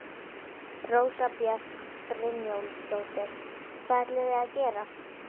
Rósa Björg Brynjólfsdóttir: Hvað ætlið þið að gera?